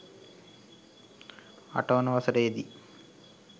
අටවන වසරේ දී